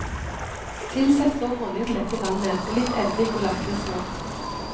Tilsett så honning til dette vannet, og litt eddik og lakrisrot.